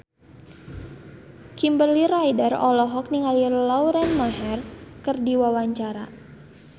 Kimberly Ryder olohok ningali Lauren Maher keur diwawancara